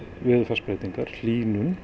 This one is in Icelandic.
veðurfarsbreytingum hlýnun